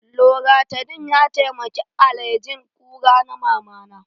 Loratadin ya taimaki alerjin ƙura na Mamana